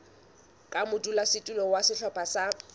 ka modulasetulo wa sehlopha sa